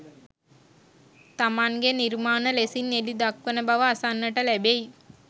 තමන්ගේ නිර්මාණ ලෙසින් එළි දක්වන බව අසන්නට ලැබෙයි.